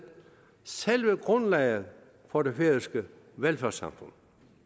selve grundlaget for det færøske velfærdssamfund